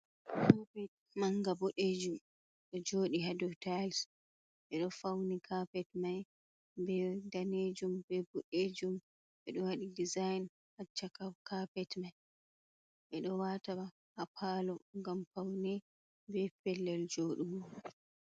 Capet manga buddejum, do jodi hado taa'il be do fauni kapet mai be danejum be buddejum. be do wadi disa'in ha chaka kapet mai. Bedo wataa ha paalo gam paune be pellel joodugo.